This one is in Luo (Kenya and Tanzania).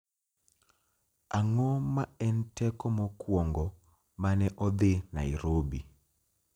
Ang'o ma en teko mokwongo ma ne odhi Nairobi?